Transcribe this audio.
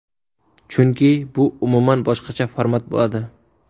Chunki bu umuman boshqacha format bo‘ladi.